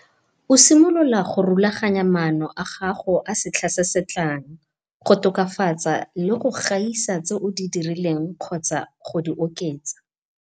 O simolola go rulaganya maano a gago a setlha se se tlang, go tokafatsa le go gaisa tse o di dirileng kgotsa go di oketsa.